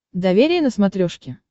доверие на смотрешке